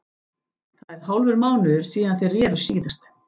Það er hálfur mánuður síðan þeir reru síðast.